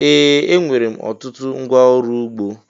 Ee! Enwere m ọtụtụ ngwa ọrụ ugbo.